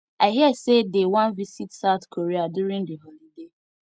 i hear say dey wan visit south korea during the holiday